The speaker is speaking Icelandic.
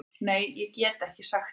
Nei ég get ekki sagt það.